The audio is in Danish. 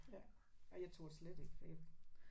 Ja. Ej jeg turde slet ikke for jeg